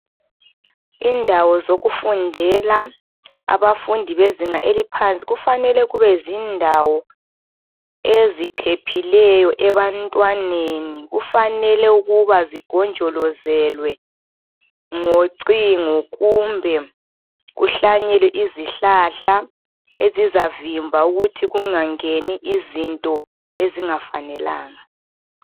indawo zokufundela abafundi bezinga eliphansi kufanele kube zindawo eziphephileyo ebantwaneni kufanele ukuba zigonjolozelwe ngocingo kumbe kuhlanyelwe izihlahla ezizavimba ukuthi kungangeni izinto ezingafanelanga